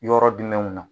Yɔrɔ jumɛnw na